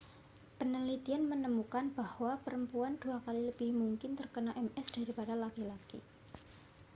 penelitian menemukan bahwa perempuan dua kali lebih mungkin terkena ms daripada laki-laki